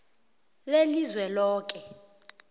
lelizweloke